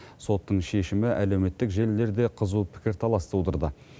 соттың шешімі әлеуметтік желілерде қызу пікірталас тудырды